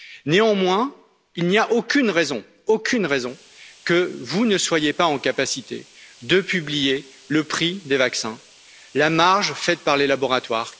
Néanmoins, il n'y a aucune raison pour que vous ne soyiez pas en capacité de publier le prix des vaccins, la marge faite par les laboratoires.